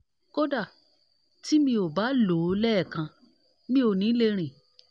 kódà tí mi ò bá lò óo lẹẹ̀kan mi ò ní lè rìn